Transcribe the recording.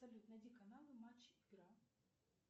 салют найди каналы матч игра